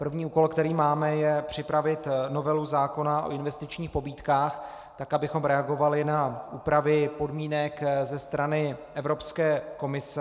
První úkol, který máme, je připravit novelu zákona o investičních pobídkách tak, abychom reagovali na úpravy podmínek ze strany Evropské komise.